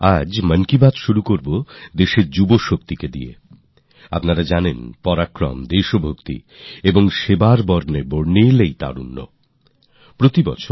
আজ মনের কথার শুরুতে যুব দেশের যুবরা সেই উদ্দীপনা সেই দেশভক্তি সেই সেবার রঙে রঙীন তরুনরা আপনারা তো জানেন